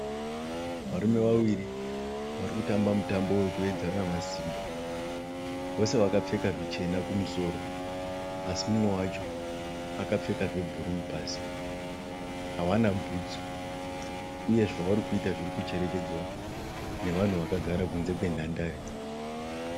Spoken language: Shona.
Varume vaviri vari kutamba mutambo wekuyedzana masimba vose vakapfeka zvichena kumusoro asi mumwe wacho akapfeka zvebhuruu pasi hawana bhutsu uye zvavari kuita zviri kucherechedzwa nevanhu vakagara kunze kwenhandare.